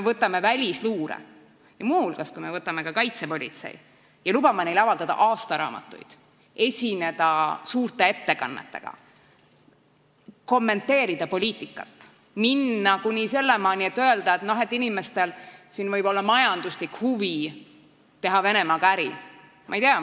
Võtame välisluure ja ka kaitsepolitsei, kellel me lubame avaldada aastaraamatuid, esineda suurte ettekannetega, kommenteerida poliitikat, minna kuni sinnamaani välja, et lasta neil öelda, et inimestel võib siin olla majanduslik huvi Venemaaga äri teha.